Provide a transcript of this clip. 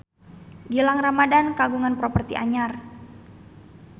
Gilang Ramadan kagungan properti anyar